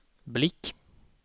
blick